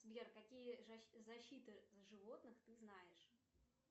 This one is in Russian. сбер какие защиты животных ты знаешь